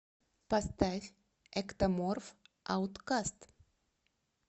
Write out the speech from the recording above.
поставь эктоморф ауткаст